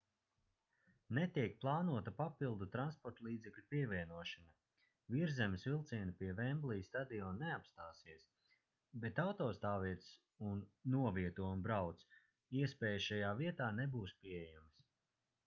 netiek plānota papildu transportlīdzekļu pievienošana virszemes vilcieni pie vemblija stadiona neapstāsies bet autostāvvietas un novieto un brauc iespējas šajā vietā nebūs pieejamas